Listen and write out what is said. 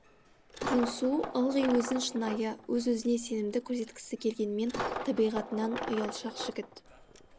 джунсу ылғи өзін шынайы өз өзіне сенімді көрсеткісі келгенмен табиғатынан ұялшақ жігіт